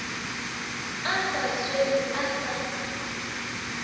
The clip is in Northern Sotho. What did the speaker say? a sa swarwe a sa